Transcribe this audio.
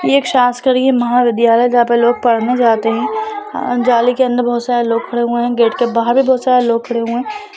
ये एक महाविद्यालय जहाॅं पे लोग पढ़ने जाते हैं ए जाली के अन्दर बोहोत सारे लोग खड़े हुए हैं गेट के बाहर भी बोहोत सारे लोग खड़े हुए हैं।